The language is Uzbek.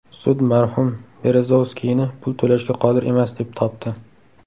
Sud marhum Berezovskiyni pul to‘lashga qodir emas deb topdi.